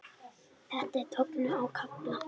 Þetta er tognun á kálfa.